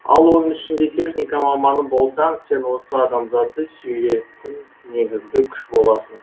ал оның ішінде техника маманы болсаң сен осы адамзатты сүйрейтін негізгі күш боласың